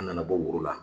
An nana bɔ woro la